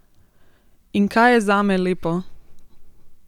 In kaj je zame lepo?